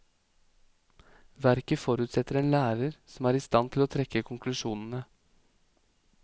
Verket forutsetter en lærer som er i stand til å trekke konklusjonene.